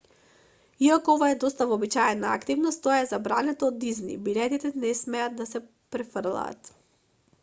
иако ова е доста вообичаена активност тоа е забрането од дизни билетите не смеат да се префрлаат